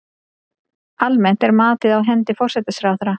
Almennt er matið á hendi forsætisráðherra.